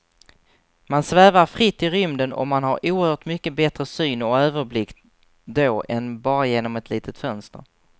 Man svävar fritt i rymden och man har oerhört mycket bättre syn och överblick då än bara genom ett litet fönster.